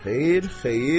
Xeyr, xeyr.